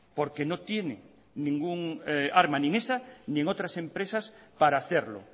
porque no tiene ninguna arma ni en esa ni en otras empresas para hacerlo